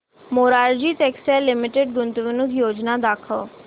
Morarji textiles limited गुंतवणूक योजना दाखव